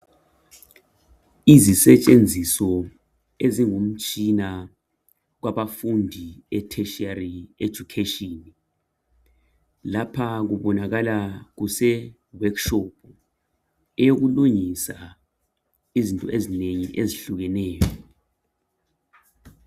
izisetshenziso ezingumtshina wabafundi e teritiary education lapha kubonakala kuse workshop yokulungisa izinto ezinengi ezihlukeneyo